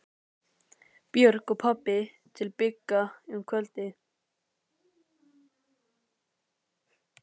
Björg og pabbi til Bigga um kvöldið.